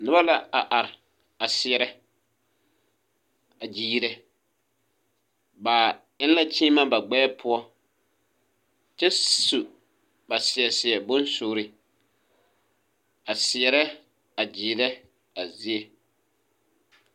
Noba la a are a seɛrɛ a gyiirɛ bavwŋ la kyiimɛ ba gbɛɛ poɔ kyɛ su ba seɛ seɛ bonsuure a seɛrɛ a gyiirɛ a zie.